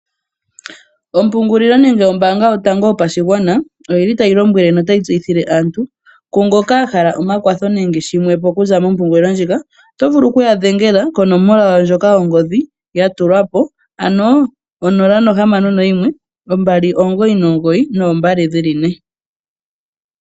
Ombelewa ndjoka yo pashigwana ota yi tseyithile aantu kutya ngele oyahala ekwatho otaya vulu oku ya dhengela ko nomola yawo yo mbaanga.